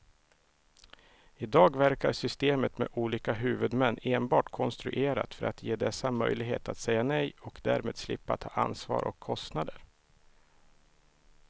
I dag verkar systemet med olika huvudmän enbart konstruerat för att ge dessa möjlighet att säga nej och därmed slippa ta ansvar och kostnader.